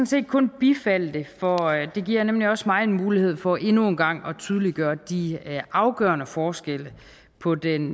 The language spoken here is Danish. set kun bifalde det for det giver nemlig også mig en mulighed for endnu en gang at tydeliggøre de afgørende forskelle på den